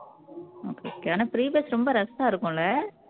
ஏன்னா free bus ரொம்ப rush ஆ இருக்கும்ல